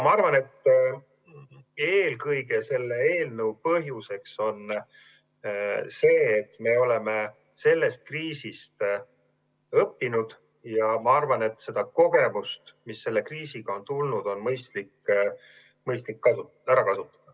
Aga eelkõige on selle eelnõu põhjus see, et me oleme sellest kriisist õppinud, ja ma arvan, et kogemust, mis selle kriisiga on tulnud, on mõistlik ära kasutada.